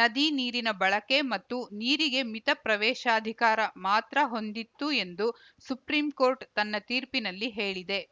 ನದಿ ನೀರಿನ ಬಳಕೆ ಮತ್ತು ನೀರಿಗೆ ಮಿತ ಪ್ರವೇಶಾಧಿಕಾರ ಮಾತ್ರ ಹೊಂದಿತ್ತು ಎಂದು ಸುಪ್ರೀಂಕೋರ್ಟ್‌ ತನ್ನ ತೀರ್ಪಿನಲ್ಲಿ ಹೇಳಿದೆ